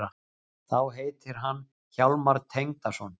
Þá heitir hann Hjálmar Tengdason.